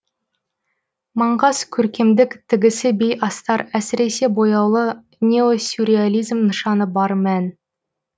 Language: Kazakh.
маңғаз көркемдік тігісі бей астар әсіресе бояулы неосюрреализм нышаны бар мән